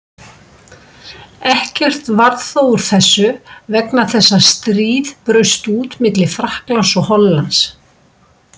Ekkert varð þó úr þessu vegna þess að stríð braust út milli Frakklands og Hollands.